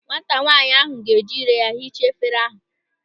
Nwata nwaanyị ahụ ga-eji ire ya hichaa efere ahụ.